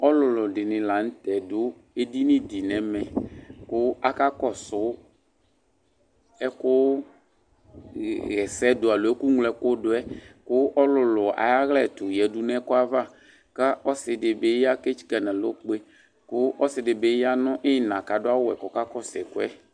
Ɔlulu ɗini la ɲtɛ ɖu eḍiniɖi nɛmɛ, ku akakɔsu ɛku ɦɛsɛɖu alo ɛkuŋlo ɛkuɖuɛ, ku ɔlulu aƴayla ɛtu ye nu ɛkoɛ ava, ku ɔsɩḍibi etsika nalɔkpe ku ɔsɩɗibi ya nu ɩnɑ kaɖu awuwɛ kɔkakɔsu ɛkuɛ